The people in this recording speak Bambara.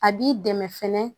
A b'i dɛmɛ fɛnɛ